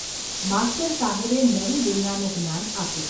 ’ માસ્તર સાહેબે નવી દુનિયાનું જ્ઞાન આપ્યું.